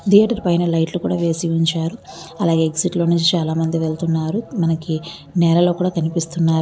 Theatre పైన లైట్లు కూడ వేసివుంచారు. అలాగె ఎగ్జిట్ లోనుంచి చాల మంది వెళ్తూ ఉన్నారు. మనకి నెలలో కూడా కనిపిస్తున్నారు.